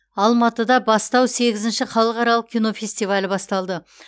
алматыда бастау сегізінші халықаралық кинофестивалі басталды